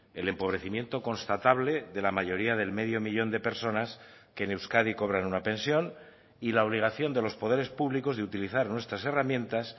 el empobrecimiento constatable de la mayoría del medio millón de personas que en euskadi cobran una pensión y la obligación de los poderes públicos de utilizar nuestras herramientas